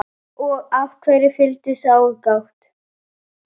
Og af hverju fyllsta aðgát?